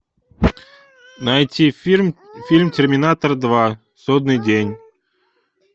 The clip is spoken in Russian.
найти фильм фильм терминатор два судный день